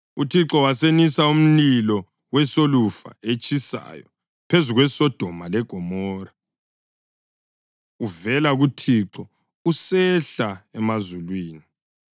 UThixo wasenisa umlilo wesolufa etshisayo phezu kweSodoma leGomora, uvela kuThixo usehla emazulwini.